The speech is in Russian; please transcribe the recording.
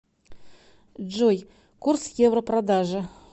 джой курс евро продажа